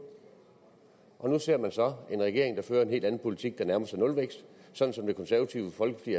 og nu ser man så en regering der fører en helt anden politik der nærmer sig nulvækst sådan som det konservative folkeparti